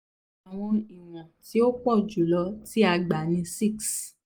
awọn iwọn ti o pọ julọ ti a gba ni 6